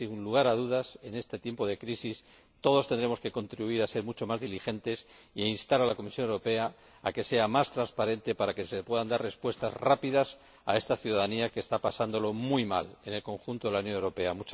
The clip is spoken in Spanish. Sin lugar a dudas, en este tipo de crisis, todos tendremos que contribuir a ser mucho más diligentes y a instar a la Comisión Europea a que sea más transparente para que se puedan dar respuestas rápidas a esta ciudadanía que está pasándolo muy mal en el conjunto de la Unión Europea.